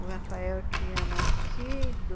O Rafael tinha nascido...